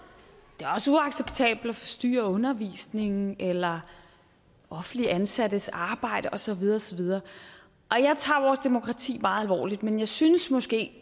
det er forstyrre undervisningen eller offentligt ansattes arbejde og så videre og så videre jeg tager vores demokrati meget alvorligt men jeg synes måske